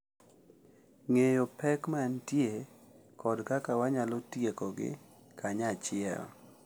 Ng’eyo pek ma nitie kod kaka wanyalo tiekogi kanyachiel.